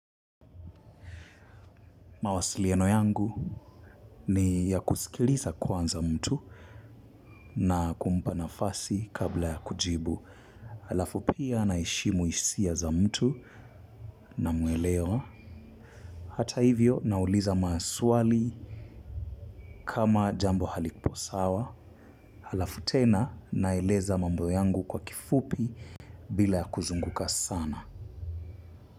Mawasiliano yangu ni ya kusikiliza kwanza mtu na kumpa nafasi kabla ya kujibu. Halafu pia naheshimu hisia za mtu na muelewa. Hata hivyo nauliza maswali kama jambo halipo sawa. Halafu tena naeleza mambo yangu kwa kifupi bila ya kuzunguka sana.